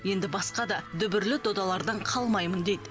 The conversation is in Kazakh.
енді басқа да дүбірлі додалардан қалмаймын дейді